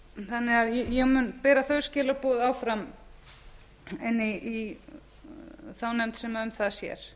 þannig að ég mun bera þau skilaboð áfram inn í þá nefnd sem um það sér